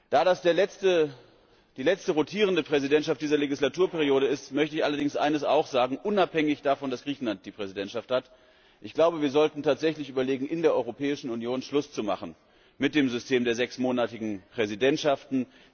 Da dies die letzte rotierende Präsidentschaft dieser Wahlperiode ist, möchte ich allerdings eines auch sagen unabhängig davon, dass Griechenland die Präsidentschaft hat Ich glaube, wir sollten tatsächlich überlegen, in der Europäischen Union Schluss zu machen mit dem System der sechsmonatigen Präsidentschaften.